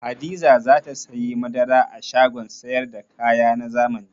Hadiza za ta sayi madara a shagon sayar da kaya na zamani.